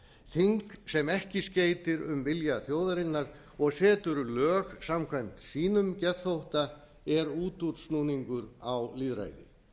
þing sem ekki skeytir um vilja þjóðarinnar og setur lög samkvæmt sínum geðþótta er útúrsnúningur á lýðræði